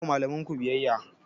Ku yi wa malamanku biyayya!